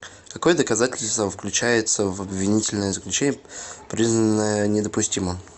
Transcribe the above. какое доказательство включается в обвинительное заключение признанное недопустимым